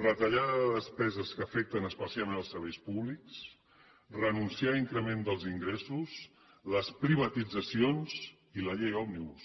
retallada de despeses que afecten especialment els serveis públics renunciar a increment dels ingressos les privatitzacions i la llei òmnibus